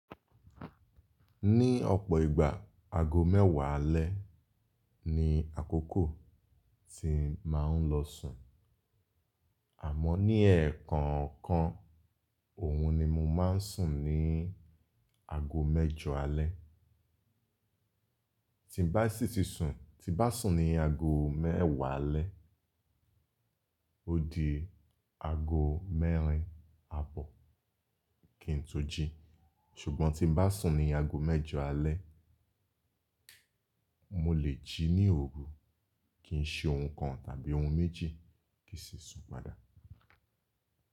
Ní ọ̀pọ̀ ìgbà, ago mẹ́wàá alẹ́ ni àkókò tí màá n lọ sùn, àmọ́ ní ẹ̀ẹ̀kọ̀kan òun ni mo máa ń sùn ní ago mẹ́jọ alẹ́. Tí bá sì ti sùn, tí bá sùn ní ago mẹ́wàá alẹ́, ó di ago mẹ́rin àbọ̀ kí n tó jí. Ṣùgbọ́n tí bá sùn ní ago mẹ́jọ alẹ́, mo lè jí ní òru kí n ṣe ohun kan tàbí ohun méjì kí sì sùn padà.